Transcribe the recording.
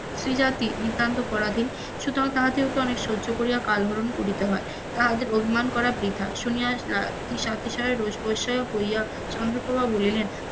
স্ত্রী জাতি নিতান্তই পরাধীন, সুতরাং তাহাকে অনেক সহ্য করিয়া কাল হরন করিতে হয়, তাহাদের অভিমান করা বৃথা, শুনিয়া স্ত্রী স্বাভাবের হইয়া চন্দ্রপ্রভা বলিলেন,